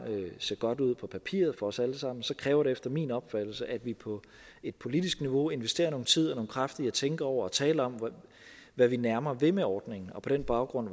se godt ud på papiret for os alle sammen kræver det efter min opfattelse at vi på et politisk niveau investerer noget tid og nogle kræfter til at tænke over og tale om hvad vi nærmere vil med ordningen og på den baggrund